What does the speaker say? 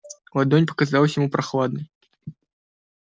ладонь показалась ему прохладной